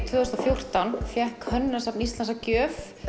tvö þúsund og fjórtán fékk Hönnunarsafnið Íslands að gjöf